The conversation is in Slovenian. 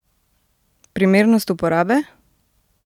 Primernost uporabe?